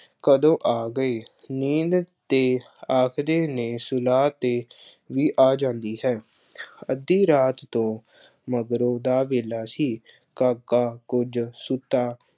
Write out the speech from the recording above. ਕਦੋਂ ਆ ਗਈ। ਨੀਂਦ ਤੇ ਆਖਦੇ ਨੇ ਸੁਲਾਹ ਤੇ ਵੀ ਆ ਜਾਂਦੀ ਹੈ। ਅੱਧੀ ਰਾਤ ਤੋਂ ਮਗਰੋਂ ਦਾ ਵੇਲਾ ਸੀ। ਕਾਕਾ ਕੁੱਝ ਸੁੱਤਾ